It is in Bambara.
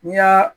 N'i y'a